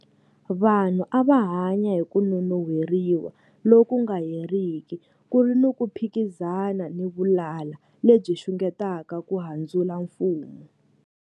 Vanhu a va hanya hi ku nonon'hweriwa loku nga heriki, ku ri ni ku phikizana ni vulala lebyi xungetaka ku handzula mfumo.